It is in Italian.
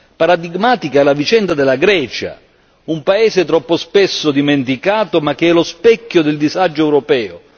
Paradigmatica è la vicenda della Grecia, un paese troppo spesso dimenticato, ma che è lo specchio del disagio europeo.